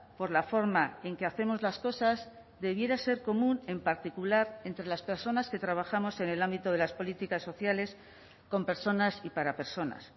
por la forma en que hacemos las cosas debiera ser común en particular entre las personas que trabajamos en el ámbito de las políticas sociales con personas y para personas